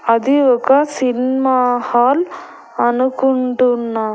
అది ఒక cinema hall అనుకుంటున్నా.